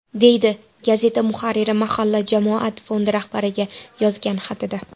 deydi gazeta muharriri mahalla jamoat fondi rahbariga yozgan xatida.